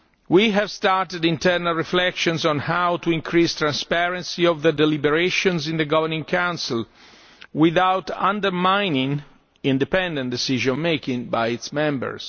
We have started internal reflections on how to increase the transparency of the deliberations in the Governing Council without undermining independent decision making by its members.